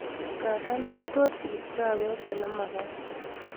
Nganda metorchin kipchapet olemakaat